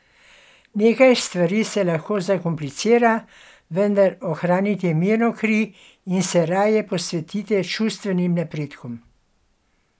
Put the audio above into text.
Nekaj stvari se lahko zakomplicira, vendar ohranite mirno kri in se raje posvetite čustvenim napredkom.